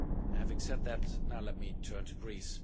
Having said that, now let me turn to Greece.